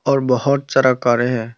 और बहोत सारा कारे हैं।